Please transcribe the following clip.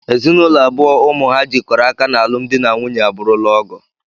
Ezinụlọ abụọ ụmụ ha jikọrọ aka n'alụm dị na nwunye abụrụla ọgọ